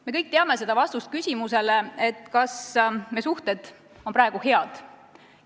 Me kõik teame vastust küsimusele, kas meie suhted on praegu head.